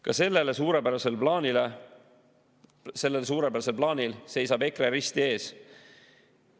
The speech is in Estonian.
Ka sellel suurepärasel plaanil seisab EKRE risti ees.